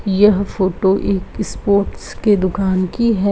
यह फोटो एक सपोर्टस के दुकान की है।